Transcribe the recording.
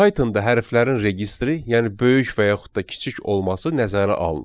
Pythonda hərflərin registri, yəni böyük və yaxud da kiçik olması nəzərə alınır.